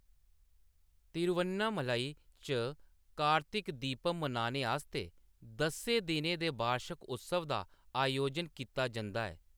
तिरुवन्नमलई च कार्तिक दीपम मनाने आस्तै दस्सें दिनें दे बार्शक उत्सव दा आयोजन कीता जंदा ऐ।